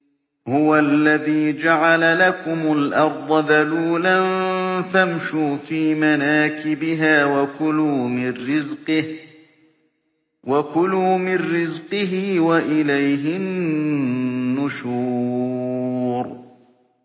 هُوَ الَّذِي جَعَلَ لَكُمُ الْأَرْضَ ذَلُولًا فَامْشُوا فِي مَنَاكِبِهَا وَكُلُوا مِن رِّزْقِهِ ۖ وَإِلَيْهِ النُّشُورُ